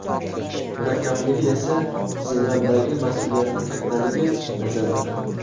Murakkabligi esa zimmamdagi mas’uliyatning kattaligi, nazarimda.